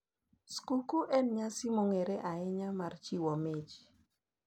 Skuku en nyasi mong`ere ahinya mar chiwo mich.